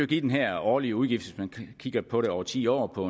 give den her årlige udgift hvis man kigger på det over ti år på